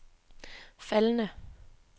faldende